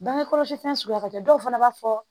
Bange kɔlɔsi fɛn suguya ka ca dɔw fana b'a fɔ